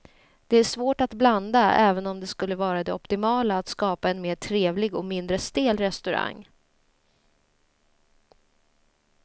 Det är svårt att blanda även om det skulle vara det optimala att skapa en mer trevlig och mindre stel restaurang.